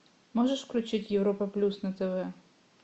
можешь включить европа плюс на тв